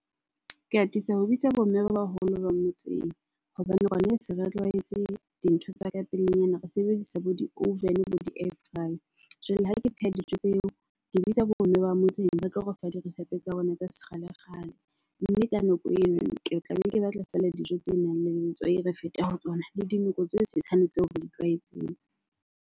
Ke atisa ho bitsa bo mme ba baholo ba motseng hobane rona re se re tlwaetse dintho tsa ka pelenyana. Re sebedisa bo di-oven-e bo di-air fryer. Jwale ha ke pheha dijo tseo, ke bitsa bo mme ba motseng ba tlo re fa dirisepe tsa bona tsa sekgalekgale. Mme ka nako eno ke tla be ke batla fela dijo tse nang le letswai re fete ho tsona. Le dinoko tse tshetshane tseo re di tlwaetseng.